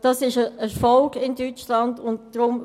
Es handelt sich in Deutschland um einen Erfolg;